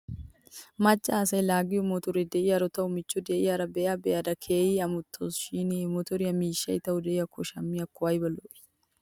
Macca asay laaggiyoo motoriyaa de'iyaaro taw michcho diyaara be'a be'ada geehi amottaws shin he motoriyoo miishshay taw de'iyaakko shammiyaakko ayba lo'ii.